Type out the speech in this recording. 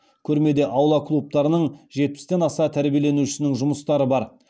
көрмеде аула клубтарының жетпістен аса тәрбиеленушісінің жұмыстары бар